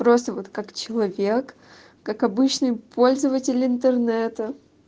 просто вот как человек как обычный пользователь интернета